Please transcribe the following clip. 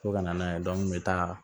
Fo ka na n'a ye n bɛ taa